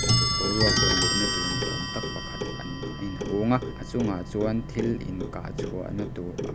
boruak vawt luhna tur ni awm tak pakhat a inhung a a chungah chuan thil inkah chhuahna tur a--